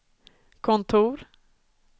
kontor